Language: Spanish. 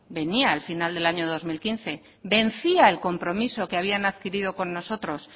venía el final del año dos mil quince vencía el compromiso que habían adquirido con nosotros